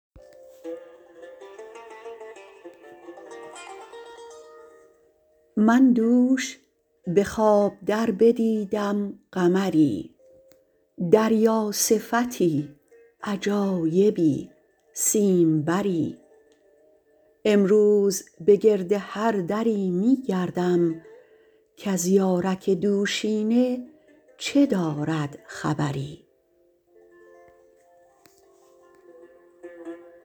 من دوش به خواب در بدیدم قمری دریا صفتی عجایبی سیم بری امروز بگرد هر دری میگردم کز یارک دوشینه چه دارد خبری